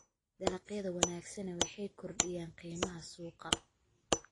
Dalagyada wanaagsani waxay kordhiyaan qiimaha suuqa.